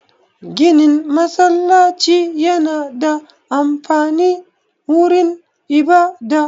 Ginin masallaci yana da amfani wurin ibada